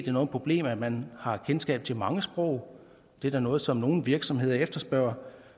er noget problem at man har kendskab til mange sprog det er da noget som nogle virksomheder efterspørger